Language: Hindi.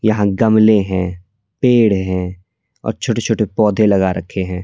यहां गमले हैं पेड़ हैं और छोटे-छोटे पौधे लगा रखे हैं।